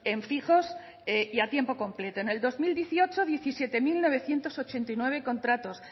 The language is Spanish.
en fijos y a tiempo completo en el dos mil dieciocho diecisiete mil novecientos ochenta y nueve contratos